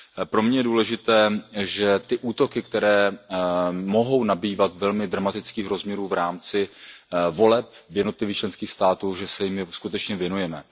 Pro mě je důležité, že ty útoky, které mohou nabývat velmi dramatických rozměrů v rámci voleb v jednotlivých členských státech, že se jim skutečně věnujeme.